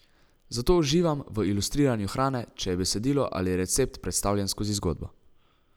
Zato uživam v ilustriranju hrane, če je besedilo ali recept predstavljen skozi zgodbo.